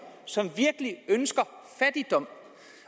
som ønsker fattigdom